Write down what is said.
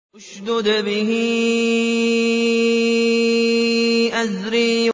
اشْدُدْ بِهِ أَزْرِي